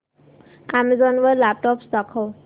Amazon वर laptops दाखव